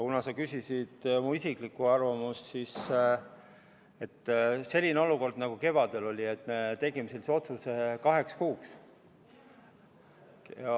Kuna sa küsisid aga mu isiklikku arvamust, siis ütlen, et sellises olukorras, nagu kevadel oli, me tegime selle otsuse kaheks kuuks.